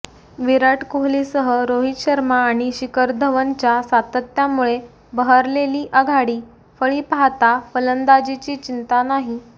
विराट कोहलीसह रोहित शर्मा आणि शिखर धवनच्या सातत्यामुळे बहरलेली आघाडी फळी पाहता फलंदाजीची चिंता नाही